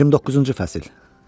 29-cu fəsil.